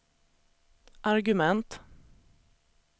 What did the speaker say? argument